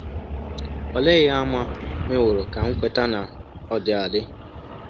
Olee ihe àmà meworo ka m kweta na ọ dị adị?